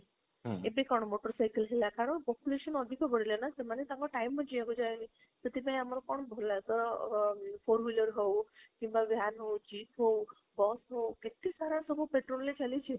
ଏବେ କଣ motorcycle ହେଲା କାରଣ population ଅଧିକ ବଢ଼ିଲା ନା, ସେମାନେ ତାଙ୍କ time ରେ ଯାହାବି ସେଥିପାଇଁ ଆମର କଣ ଭଲ ଭଲ ଅ four wheeler ହଉ କିମ୍ବା van ହଉଛି ହଉ bus ହଉ କେତ ଏସାର ସବୁ petrol ରେ ଚାଲିଛି